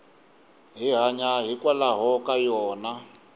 hi hanya hikwalaho ka yona